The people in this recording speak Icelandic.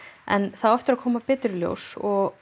en það á eftir að koma betur í ljós og